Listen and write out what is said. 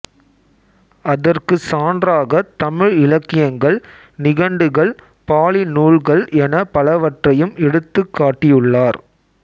அதற்குச் சான்றாகத் தமிழ் இலக்கியங்கள் நிகண்டுகள் பாலி நூல்கள் எனப் பலவற்றையும் எடுத்துக் காட்டியுள்ளார்